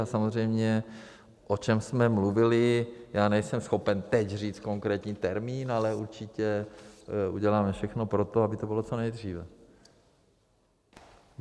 A samozřejmě, o čem jsme mluvili, nejsem schopen teď říct konkrétní termín, ale určitě uděláme všechno pro to, aby to bylo co nejdříve.